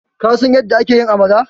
kasan yadda ake amala?